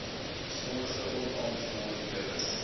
sommige onaangename newe